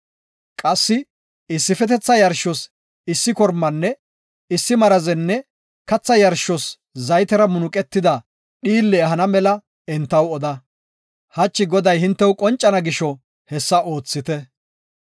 Qassi issifetetha yarshos issi korma, issi marazenne katha yarshos zaytera munuqetida dhiille ehana mela entaw oda. Hachi Goday hintew qoncana gisho hessa oothite.